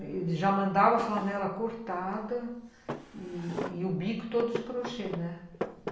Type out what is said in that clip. Eles já mandavam flanela cortada e o bico todo de crochê, né?